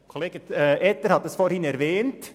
Kollege Etter hat es vorhin erwähnt: